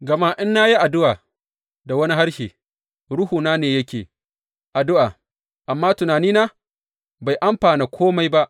Gama in na yi addu’a da wani harshe, ruhuna ne yake addu’a, amma tunanina bai amfana kome ba.